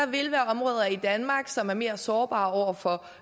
vil være områder i danmark som er mere sårbare over for